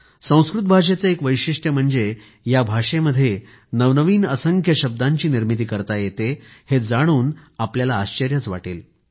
संस्कृत भाषेचं एक वैशिष्ट्य म्हणजे या भाषेमध्ये नवनवीन असंख्य शब्दांची निर्मिती करता येते हे जाणून आपल्याला आश्चर्यच वाटेल